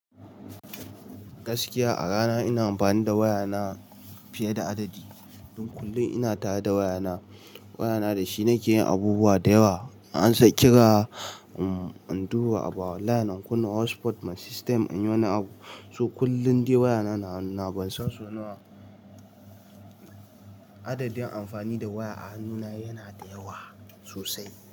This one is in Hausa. Gaskiya a rana ina amfani da waya na fiye da adadi. Don kullum ina tare da waya na. Waya na da shi nake yin abubuwa da yawa. Ansa kira, umm, in duba abu a online in kunna, hotspot na system inyi wani abu. So kullum dai waya na, na hannuna ban san so nawa. Adadin amfani da waya a hannu na yana da yawa sosai.